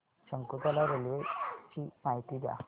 Shakuntala railway ची माहिती द्या